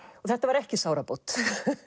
þetta var ekki sárabót